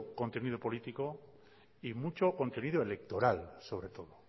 contenido político y mucho contenido electoral sobre todo